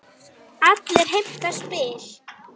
Allir heimta spil.